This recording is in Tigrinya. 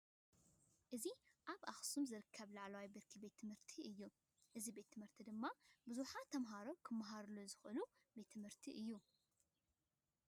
እዚ ኣብ እክሱም ዝርከብ ላዕለዋይ ብርኪ ቤት ትምህርቲ እዩ። እዚ ቤት ትምህርቲ እዚ ድማ ቡዙሓት ተማሃሮ ክመሃርሉ ዝክእሉ ቤት ትምህርቲ እዩ።